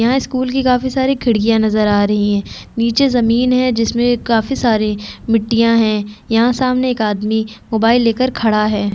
यह स्कूल की काफी सारी खिड़किया नज़र आ रही है निचे जमीन है जिसमे काफी सारे मिट्टिया है यहाँ सामने एक आदमी मोबाइल ले कर खड़ा है।